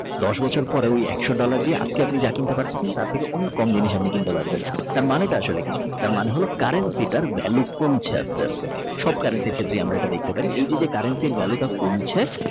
দশ বছর পরে একশো dollar দিয়ে আজকে আপনি যা কিনতে পারতাছেন তার থেকে অনেক কম জিনিস আপনি কিনতে পারবেন তার মানেটা আসলে কি তার মানেটা হল currency সিটার ভ্যালুটা কমছে আস্তে আস্তে। currency ক্ষেত্রে আমরা এটা দেখতে পারি এই যে যে currency ভ্যালুটা কমছে।